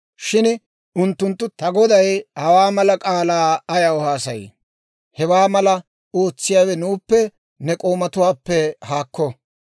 Shin unttunttu, «Ta goday hawaa mala k'aalaa ayaw haasayii? Hewaa malaa ootsiyaawe nuuppe ne k'oomatuwaappe haakko!